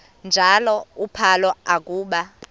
njalo uphalo akuba